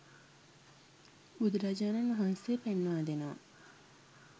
බුදුරජාණන් වහන්සේ පෙන්වා දෙනවා